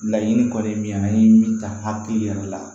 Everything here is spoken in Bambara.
Laɲini kɔni ye min ye an ye min ta hakili yɛrɛ la